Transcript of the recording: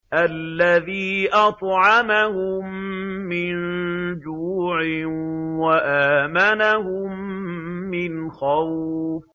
الَّذِي أَطْعَمَهُم مِّن جُوعٍ وَآمَنَهُم مِّنْ خَوْفٍ